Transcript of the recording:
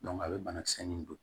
a bɛ banakisɛ nin don